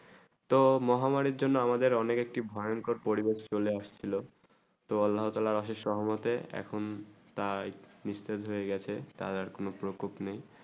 তো মহামারী জন্য আমাদের অনেক একটি ভয়ঙ্কর পরিবেশ চলে আসা ছিল সহমত এখন তাই নিষ্কৃত হয়ে গেছে তার আর কোনো প্রকোপ নেই